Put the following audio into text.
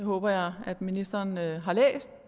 håber jeg ministeren